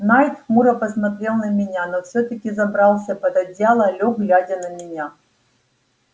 найд хмуро посмотрел на меня но всё-таки забрался под одеяло лёг глядя на меня